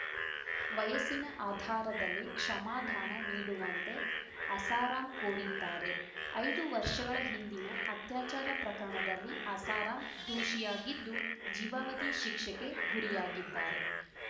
ವಯಸ್ಸಿನ ಆಧಾರದಲ್ಲಿ ಕ್ಷಮಾದಾನ ನೀಡುವಂತೆ ಆಸಾರಾಂ ಕೋರಿದ್ದಾರೆ ಐದು ವರ್ಷಗಳ ಹಿಂದಿನ ಅತ್ಯಾಚಾರ ಪ್ರಕರಣದಲ್ಲಿ ಆಸಾರಾಂ ದೂಷಿಯಾಗಿದ್ದು ಜೀವಾವಧಿ ಶಿಕ್ಷೆಗೆ ಗುರಿಯಾಗಿದ್ದಾರೆ